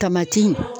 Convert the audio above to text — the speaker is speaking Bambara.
Tamati